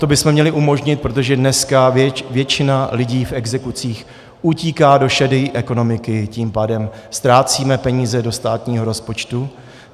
To bychom měli umožnit, protože dneska většina lidí v exekucích utíká do šedé ekonomiky, tím pádem ztrácíme peníze do státního rozpočtu.